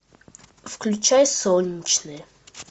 включай солнечные